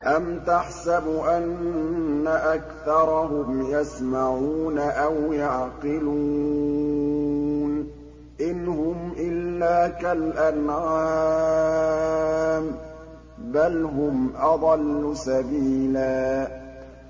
أَمْ تَحْسَبُ أَنَّ أَكْثَرَهُمْ يَسْمَعُونَ أَوْ يَعْقِلُونَ ۚ إِنْ هُمْ إِلَّا كَالْأَنْعَامِ ۖ بَلْ هُمْ أَضَلُّ سَبِيلًا